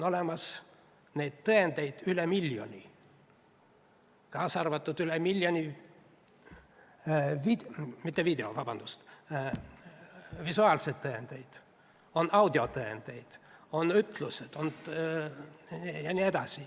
Tõendeid on üle miljoni, kaasa arvatud visuaalsed tõendid, audiotõendid, ütlused.